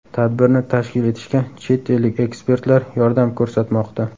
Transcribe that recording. Tadbirni tashkil etishga chet ellik ekspertlar yordam ko‘rsatmoqda.